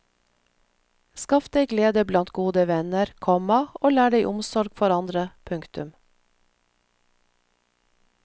Skaff deg glede blant gode venner, komma og lær deg omsorg for andre. punktum